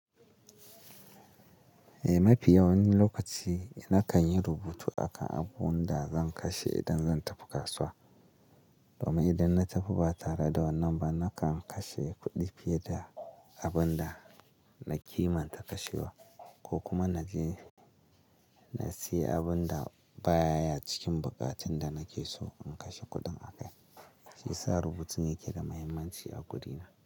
Eh, mafi yawan lokaci nakan yi rubutu akan abun da zan kashe idan zan tafi kasuwa. Domin idan na tafi ba tare da wannan ba, nakan kashe kuɗi fiye da abun da na kimanta kashewa, ko kuma na je na siya abun da ba ya cikin buƙatun da nake so in kashe kuɗin a kai. Shi ya sa rubutun yake da mahimmanci a gurina.